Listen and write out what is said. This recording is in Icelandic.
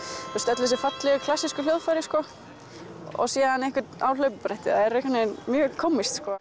öll þessi fallegu klassísku hljóðfæri sko síðan einhvern á hlaupabretti það er eitthvað mjög kómískt sko